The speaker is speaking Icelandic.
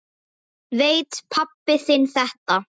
Veit pabbi þinn þetta?